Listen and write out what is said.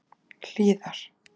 Hlíðar